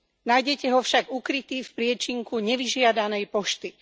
Nájdete ho však ukrytý v priečinku nevyžiadanej pošty.